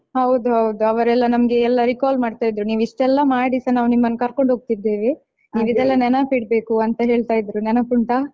ಹೌದು ಹೌದು ಅವರೆಲ್ಲ ನಮ್ಗೆ ಎಲ್ಲಾ recall ಮಾಡ್ತಾ ಇದ್ರು ನೀವಿಷ್ಟೆಲ್ಲ ಮಾಡಿಸ ನಾವ್ ನಿಮ್ಮನ್ನ ಕರ್ಕೊಂಡು ಹೋಗ್ತಿದೇವೆ ನೀವ್ ಇದೆಲ್ಲಾ ನೆನಪಿಡ್ಬೇಕು ಅಂತ ಹೇಳ್ತಾ ಇದ್ರು ನೆನಪುಂಟಾ?